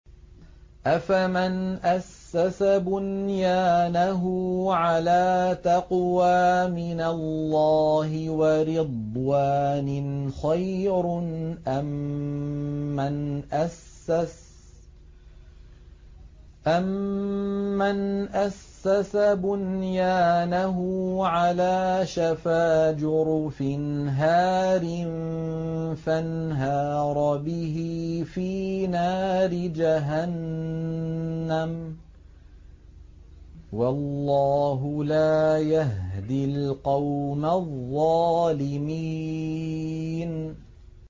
أَفَمَنْ أَسَّسَ بُنْيَانَهُ عَلَىٰ تَقْوَىٰ مِنَ اللَّهِ وَرِضْوَانٍ خَيْرٌ أَم مَّنْ أَسَّسَ بُنْيَانَهُ عَلَىٰ شَفَا جُرُفٍ هَارٍ فَانْهَارَ بِهِ فِي نَارِ جَهَنَّمَ ۗ وَاللَّهُ لَا يَهْدِي الْقَوْمَ الظَّالِمِينَ